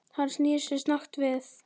Hann snýr sér snöggt við.